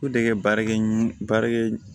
baarakɛ ɲɔn baarakɛ